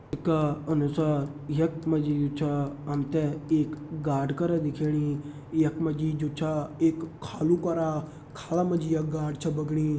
चित्र का अनुसार यख मा जी जु छा हम तें एक गाड करा दिखेणी यख मा जी जु छा एक खालू करा खाला मा जी ये गाड छ बगणी।